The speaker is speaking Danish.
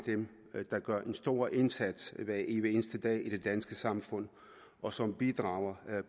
dem der gør en stor indsats hver evig eneste dag i det danske samfund og som bidrager